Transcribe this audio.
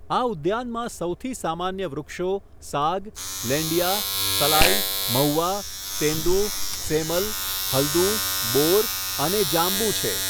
આ ઉદ્યાનમાં સૌથી સામાન્ય વૃક્ષો સાગ, લેંડિયા, સલાઇ, મહુવા, તેંદુ, સેમલ, હલ્દુ, બોર અને જાંબુ છે.